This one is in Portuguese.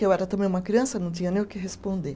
Eu era também uma criança, não tinha nem o que responder.